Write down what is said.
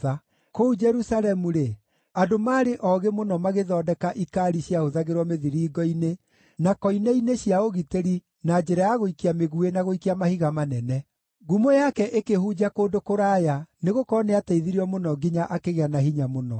Kũu Jerusalemu-rĩ, andũ maarĩ oogĩ mũno magĩthondeka ikaari ciahũthagĩrwo mĩthiringo-inĩ na koine-inĩ cia ũgitĩri na njĩra ya gũikia mĩguĩ na gũikia mahiga manene. Ngumo yake ĩkĩhunja kũndũ kũraya nĩgũkorwo nĩateithirio mũno nginya akĩgĩa na hinya mũno.